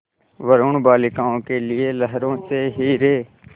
वरूण बालिकाओं के लिए लहरों से हीरे